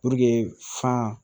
fan